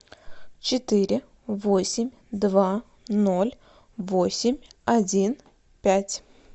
четыре восемь два ноль восемь один пять